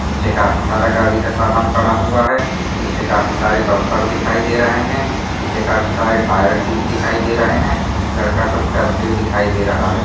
पीछे काफी सारा गाड़ी का सामान पड़ा हुआ है पीछे काफी सारे बम्पर दिखाई दे रहे है पीछे काफी सारे टायर ट्यूब दिखाई दे रहे है लड़का कुछ करते हुए दिखाई दे रहा है।